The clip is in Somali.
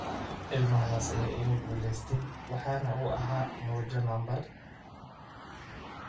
Ilmahaas ayaa iga guulaystay, waxa uu ahaa mojo nambar